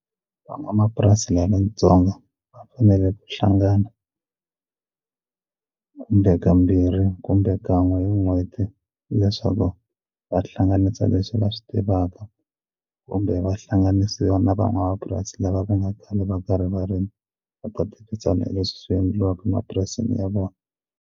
Van'wamapurasi lavatsongo va fanele ku hlangana kumbe kambirhi kumbe kan'we hi n'hweti leswaku va hlanganisa leswi va swi tivaka kumbe va hlanganisiwa na van'wamapurasi lava va nga khale va karhi va rima va ta tirhisana leswi swi endliwaka emapurasini ya vona.